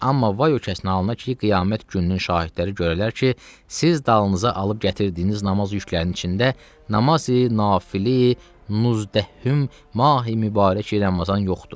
Amma vay o kəsin halına ki, qiyamət gününün şahidləri görərlər ki, siz dalınıza alıb gətirdiyiniz namaz yüklərinin içində namazi nafililə Nuzdəhüm mahi mübarək Ramazan yoxdur.